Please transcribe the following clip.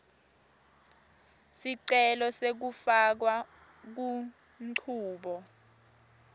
sicelo sekufakwa kunchubo